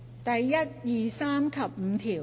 第1、2、3及5條。